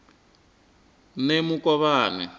nemukovhani